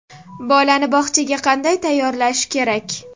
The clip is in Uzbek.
Bolani bog‘chaga qanday tayyorlash kerak?.